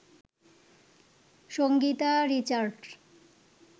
Sangeeta Richard